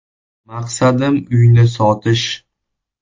“Maqsadim uyni sotish.